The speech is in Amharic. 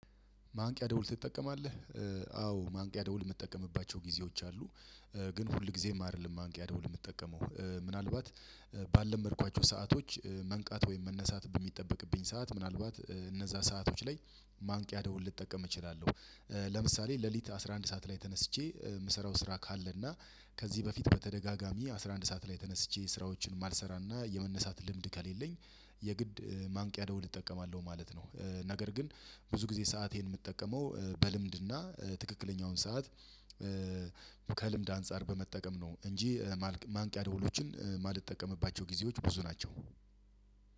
ማንቂያ ደውል ትጠቀማለህ? አዎ ማንቂያ ደውል የምትጠቀምባቸው ጊዜዎች አሉ። ግን ሁል ጊዜም አይደለም ማንቂያ ደውል የምትጠቀመው ምናልባት ባልለመድኳቸው ሰአቶች መንቃት ወይም መነሳት በሚጠበቅብኝ ሰዓት ምናልባት እነዛ ሰአቶች ላይ ማንቂያ ደውል ልጠቀም እችላለሁ። ለምሳሌ ሌሊት አስራ አንድ ሰዓት ላይ ተነስቼ የምሰራው ስራ ካለና። ከዚህ በፊት በተደጋጋሚ አስራ አንድ ሰዓት ላይ ተነስቼ ስራዎችን ማልሰራና የመነሳት ልምድ ከሌለኝ የግድ ማንቂያ ደውል እጠቀማለሁ ማለት ነው። ነገር ግን ብዙ ጊዜ ሰአቴን የምጠቀመው በልምድና ትክክለኛውን ሰዓት። ከልምድ አንፃር በመጠቀም ነው። እንጂ ማንቂያ ደውሎችን ማልጠቀምባቸው ጊዜዎች ብዙ ናቸው።